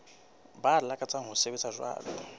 ba lakatsang ho sebetsa jwalo